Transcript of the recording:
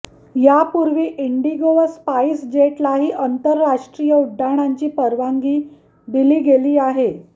यापूर्वी इंडिगो व स्पाईसजेटलाही आंतरराष्ट्रीय उड्डाणांची परवानगी दिली गेली आहे